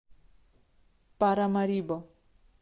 парамарибо